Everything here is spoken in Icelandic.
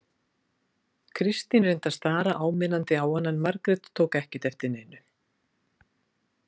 Kristín reyndi að stara áminnandi á hana en Margrét tók ekkert eftir neinu.